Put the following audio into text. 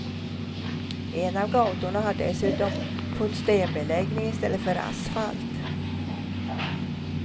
En av gatorna har dessutom fått stenbeläggning istället för asfalt.